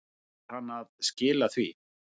Nú var hann að skila því.